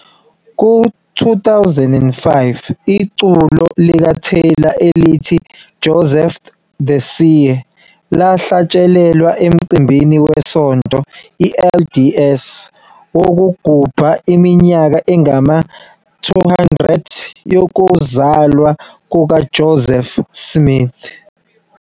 Ku-2005, iculo likaTaylor elithi "Joseph the Seer" lahlatshelelwa emcimbini weSonto LDS wokugubha iminyaka engama-200 yokuzalwa kukaJoseph Smith.